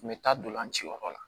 N bɛ taa ntolanci yɔrɔ la